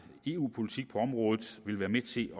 eu politik på området vil være med til at